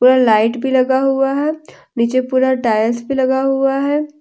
पूरा लाइट भी लगा हुआ है नीचे पूरा टाइल्स भी लगा हुआ है।